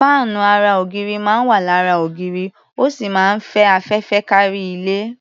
Fáànù ara ògiri máa ń wà lára ògiri, ó sì máa ń fẹ́ afẹ́fẹ́ kárí ilé.